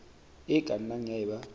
e ka nnang ya eba